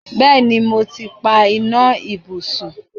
Bẹ́ẹ̀ni, mo ti pa iná ibùsùn.